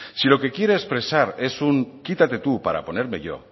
si lo que quieres expresar es un quítate tú para ponerme yo